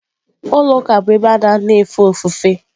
Ụlọ ụka bụ ebe a na-anọ efe ofufe.